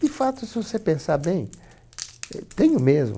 De fato, se você pensar bem, eh, tenho mesmo.